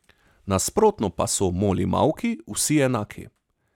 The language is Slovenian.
Nasprotno pa so molimauki vsi enaki.